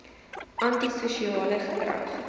anti sosiale gedrag